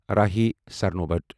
راہی سرنوبت